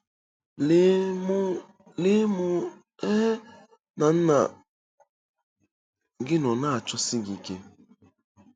Lee, mụ Lee, mụ um na nna gị nọ na-achọsi gị ike. ”